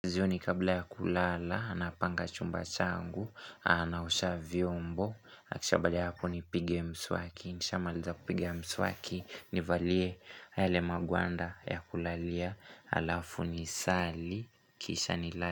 Jioni kabla ya kulala, napanga chumba changu, naosha vyombo, na kisha baada ya hapo nipige mswaki, nishamaliza kupiga mswaki, nivalie yale magwanda ya kulalia, alafu nisali, kisha nilale.